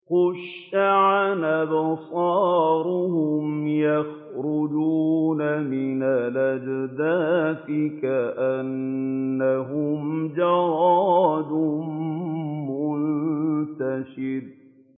خُشَّعًا أَبْصَارُهُمْ يَخْرُجُونَ مِنَ الْأَجْدَاثِ كَأَنَّهُمْ جَرَادٌ مُّنتَشِرٌ